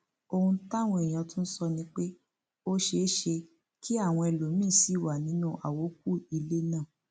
ohun táwọn èèyàn tún sọ ni pé ó ṣeé ṣe kí àwọn ẹlòmíín sì wà nínú àwókù ilé náà